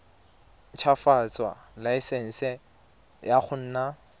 ntshwafatsa laesense ya go nna